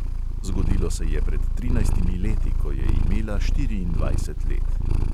Zgodilo se je pred trinajstimi leti, ko je imela štiriindvajset let.